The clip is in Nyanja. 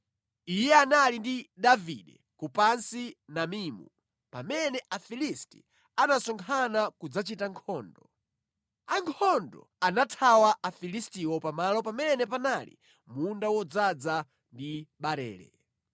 Iye anali ndi Davide ku Pasi-Damimu pamene Afilisti anasonkhana kudzachita nkhondo. Ankhondo anathawa Afilistiwo pamalo pamene panali munda wodzaza ndi barele.